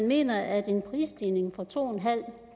mener at en prisstigning to